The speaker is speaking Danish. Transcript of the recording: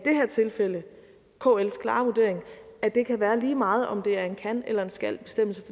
tilfælde kls klare vurdering at det kan være lige meget om det er en kan eller skalbestemmelse